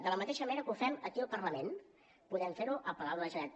de la mateixa manera que ho fem aquí al parlament podem fer ho al palau de la generalitat